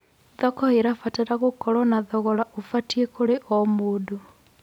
Thoko ĩrabatara gũkorwo na thogora ũbatiĩ kũrĩ o mũndũ.